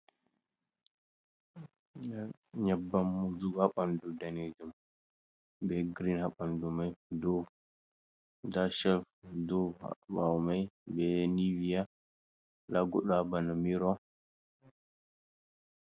Nyabbam wujugo ha ɓanɗu danejum be grin ha ɓanɗu mai, nda da chelf du ha ɓawo mai be nivia nda goɗɗo ha bana miro.